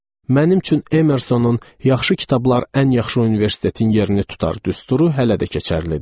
Mənim üçün Emersonun yaxşı kitablar ən yaxşı universitetin yerini tutar düsturu hələ də keçərlidir.